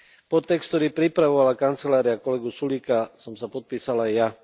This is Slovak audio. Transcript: Pod text, ktorý pripravovala kancelária kolegu Sulíka, som sa podpísal aj ja.